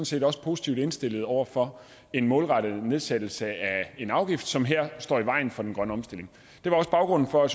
set også positivt indstillet over for en målrettet nedsættelse af en afgift som står i vejen for den grønne omstilling det var også baggrunden for